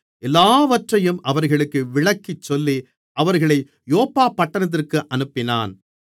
எல்லாவற்றையும் அவர்களுக்கு விளக்கிச் சொல்லி அவர்களை யோப்பா பட்டணத்திற்கு அனுப்பினான்